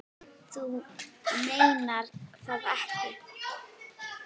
Þú meinar það ekki.